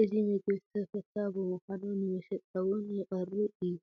እዚ ምግቢ ተፈታዊ ብምኳኑ ንመሸጣ እው ይቐርብ እዩ፡፡